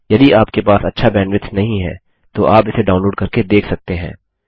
यदि आपके पास अच्छा बैंडविड्थ नहीं है तो आप इसे डाउनलोड करके देख सकते हैं